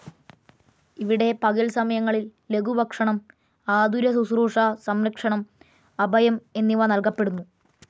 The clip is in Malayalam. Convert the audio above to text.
ഇവിടെ പകൽ സമയങ്ങളിൽ ലഘുഭക്ഷണം, ആതുരശുശ്രൂഷ, സംരക്ഷണം, അഭയം എന്നിവ നൽകപ്പെടുന്നു.